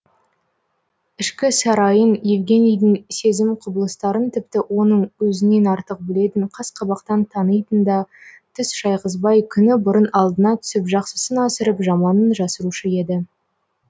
ішкі сарайын евгенийдің сезім құбылыстарын тіпті оның өзінен артық білетін қас қабақтан танитын да түс шайғызбай күні бұрын алдына түсіп жақсысын асырып жаманын жасырушы еді